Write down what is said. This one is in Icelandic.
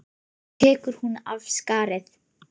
Svo tekur hún af skarið.